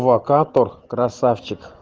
локатор красавчик